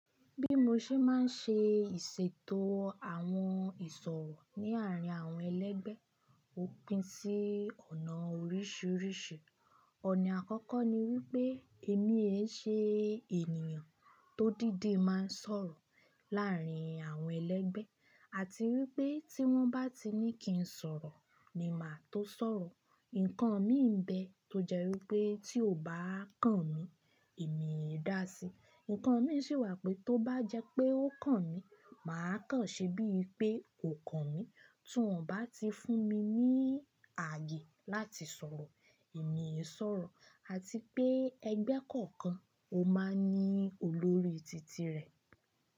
Bí mo ṣe máa ń ṣe ìṣètò àwọn ìsọ̀rọ̀ ní àárín àwọn ẹlẹ́gbẹ́ òpin sí ọ̀nà oríṣiríṣi. Ọ̀nà àkọ́kọ́ ni wípé èmi ẹ́ ṣe ènìyàn tó dídi máa ń sọ̀rọ̀ láàárín àwọn ẹlẹ́gbẹ́ àti wípé tí wọ́n bá ti ní kín sọ̀rọ̀ ni màá tó sọ̀rọ̀. Ǹkan mi bẹ tó jẹ́ wípé tí o bá kàn mí, èmi ì dáa sí. Ǹkan mi sì wà pé tó bá jẹ́ pé ó kàn mí, màá kàn ṣe bíi pé ó kàn mí. Tí wọ́n bá ti fún mi ní ààyè láti sọ̀rọ̀, èmi ẹ́ sọ̀rọ̀ àti pé ẹgbẹ́ kọ̀ọ̀kan ó máa ń ní olórí titi rẹ̀.